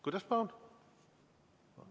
Kuidas, palun?